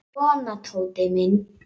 Svona, Tóti minn.